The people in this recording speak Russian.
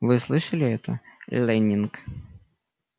вы слышали ето лэннинг